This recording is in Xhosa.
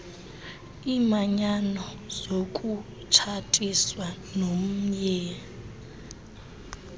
iimanyano zokutshatiswa nomnye